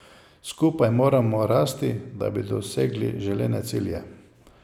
Skupaj moramo rasti, da bi dosegli želene cilje.